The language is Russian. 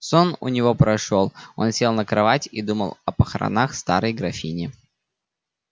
сон у него прошёл он сел на кровать и думал о похоронах старой графини